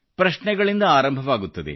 ಪ್ರಶ್ನೆಗಳಿಂದ ಆರಂಭವಾಗುತ್ತದೆ